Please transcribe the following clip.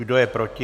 Kdo je proti?